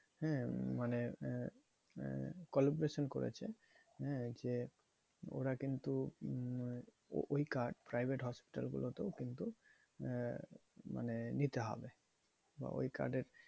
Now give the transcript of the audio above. হ্যাঁ মানে আহ collaboration করেছে। হ্যাঁ? যে ওরা কিন্তু আহ ওই card private hospital গুলোতেও কিন্তু আহ মানে নিতে হবে বা ওই card এর